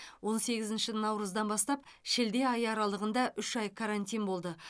он сегізінші наурыздан бастап шілде айы аралығында үш ай карантин болды